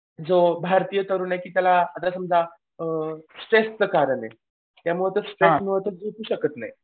जो भारतीय तरुण आहे ज्याला की आता समजा स्ट्रेसचं कारण आहे त्यामुळे स्ट्रेस नाही